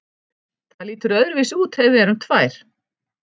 Það lítur öðruvísi út ef við erum tvær.